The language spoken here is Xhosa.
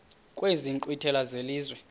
kwezi nkqwithela zelizwe